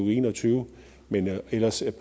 og en og tyve men ellers